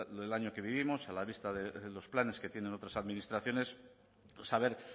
del año que vivimos a la vista de los planes que tienen otras administraciones saber